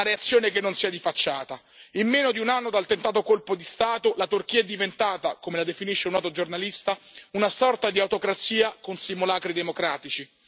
Una reazione che non sia di facciata? In meno di un anno dal tentato colpo di Stato, la Turchia è diventata, come la definisce un noto giornalista, una sorta di autocrazia con simulacri democratici.